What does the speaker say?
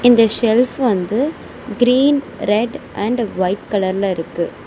இந்த ஷெஃல்ப் வந்து green red and white கலர்ல இருக்கு.